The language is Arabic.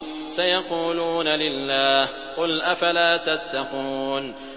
سَيَقُولُونَ لِلَّهِ ۚ قُلْ أَفَلَا تَتَّقُونَ